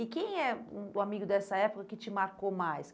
E quem é hum o amigo dessa época que te marcou mais?